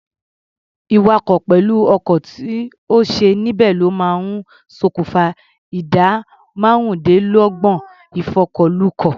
Ìwakọ̀ pẹ̀lú ọkàn tí ò sí níbẹ̀ ló máa ń ṣòkùfa ìdá márùndínlọ́gbọ̀n ìfọkọ̀lukọ̀.